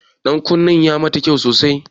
Ɗankunnen ya mata kyau sosai.